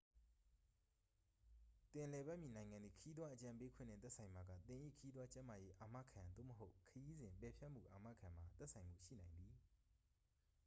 သင်လည်ပတ်မည့် နိုင်ငံသည် ခရီးသွား အကြံပေးခွင့်နှင့် သက်ဆိုင်ပါက သင်၏ ခရီးသွား ကျန်းမာရေး အာမခံ သို့မဟုတ် ခရီးစဉ် ပယ်ဖျက်မှု အာမခံမှာ သက်ဆိုင်မှုရှိနိုင်သည်